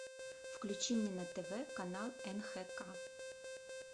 включи мне на тв канал нхк